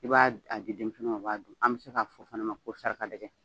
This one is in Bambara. I b'a a di denminsɛninw u b'a dun an bɛ se k'a fɔ o fana ma ko saraka dɛgɛ.